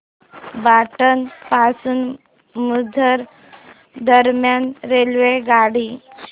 पाटण पासून भुज दरम्यान रेल्वेगाडी